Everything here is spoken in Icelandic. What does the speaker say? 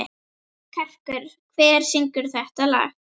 Karkur, hver syngur þetta lag?